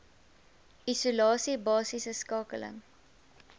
isolasie basiese skakeling